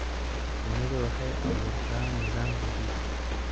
Shinnidu waxay abuurtaa nidaam xidid.